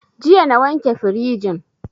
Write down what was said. Jiya na wanke firijin